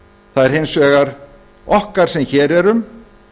það er hins vegar okkar sem hér erum